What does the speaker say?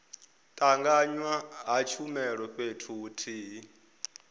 tanganywa ha tshumelo fhethu huthihi